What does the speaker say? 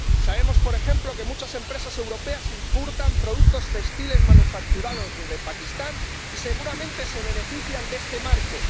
Sabemos, por ejemplo, que muchas empresas europeas importan productos textiles manufacturados de Pakistán y seguramente se benefician de este marco.